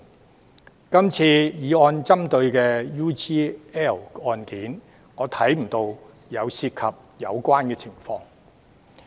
在今次議案所針對的 UGL 案，我便看不到涉及相似的情況。